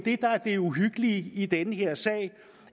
det uhyggelige i den her sag er jo